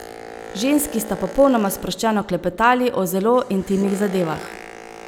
Ženski sta popolnoma sproščeno klepetali o zelo intimnih zadevah.